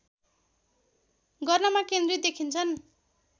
गर्नमा केन्द्रित देखिन्छन्